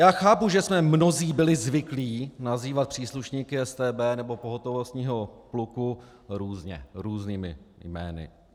Já chápu, že jsme mnozí byli zvyklí nazývat příslušníky StB nebo pohotovostního pluku různě, různými jmény.